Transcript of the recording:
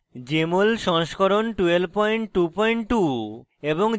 jmol সংস্করণ 1222